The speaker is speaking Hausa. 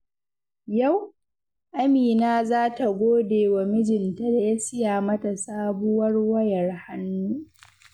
Yau, Amina za ta gode wa mijinta da ya siya mata sabuwar wayar hannu.